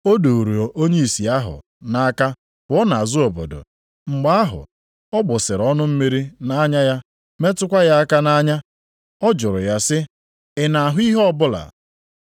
Ọ duuru onye ìsì ahụ nʼaka pụọ nʼazụ obodo. Mgbe ahụ, ọ gbụsara ọnụ mmiri nʼanya ya metụkwa ya aka nʼanya. Ọ jụrụ ya sị, “Ị na-ahụ ihe ọbụla?”